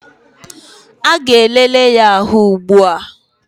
A ga-elele ya ahụ ugbua